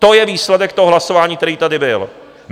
To je výsledek toho hlasování, který tady byl.